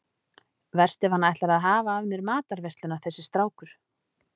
Verst ef hann ætlar að hafa af mér matarveisluna þessi strákur.